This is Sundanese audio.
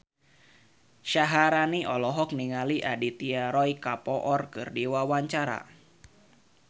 Syaharani olohok ningali Aditya Roy Kapoor keur diwawancara